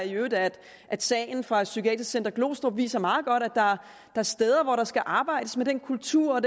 i øvrigt at at sagen fra psykiatrisk center glostrup viser meget godt at der er steder hvor der skal arbejdes med den kultur og